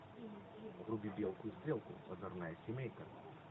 вруби белку и стрелку озорная семейка